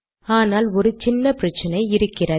ஆனால் ஒரு சின்ன பிரச்சினை இருக்கிறது